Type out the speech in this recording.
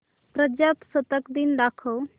प्रजासत्ताक दिन दाखव